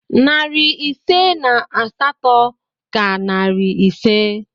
Narị ise na asatọ ka narị ise